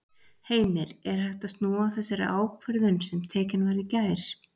Heimir: Er hægt að snúa þessari ákvörðun sem tekin var í gær?